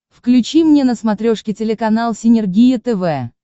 включи мне на смотрешке телеканал синергия тв